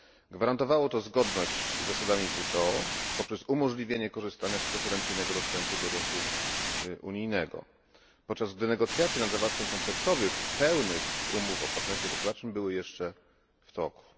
Gwarantowało to zgodność z zasadami WTO poprzez umożliwienie korzystania z preferencyjnego dostępu do rynku unijnego, podczas gdy negocjacje nad zawarciem kompleksowych, pełnych umów o partnerstwie gospodarczym były jeszcze w toku.